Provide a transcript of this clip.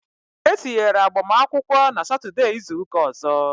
E tinyera agbamakwụkwọ n' Satọdee izuka ọzọ